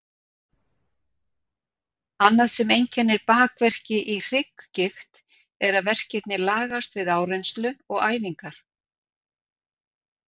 Annað sem einkennir bakverki í hrygggigt er að verkirnir lagast við áreynslu og æfingar.